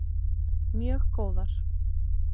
Mjög góðar.